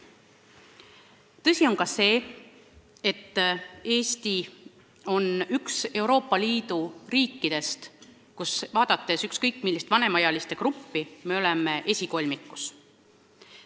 Tõsi on ka see, et Euroopa Liidu riikide seas, kui me vaatame ükskõik millist vanemaealiste gruppi, me oleme esikolmikus.